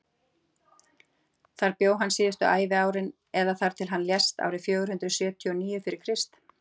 þar bjó hann síðustu æviárin eða þar til hann lést árið fjögur hundruð sjötíu og níu fyrir krist